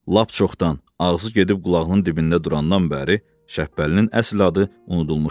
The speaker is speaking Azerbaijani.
Lap çoxdan, ağzı gedib qulağının dibində durandan bəri Şəbpəlinin əsl adı unudulmuşdu.